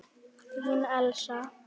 Þín Elísa.